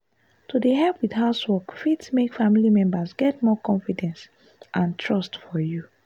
to dey help with housework fit make family members get more confidence and trust for you.